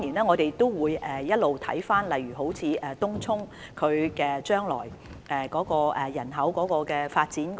我們會一直監察整體情況，例如東涌日後的人口發展。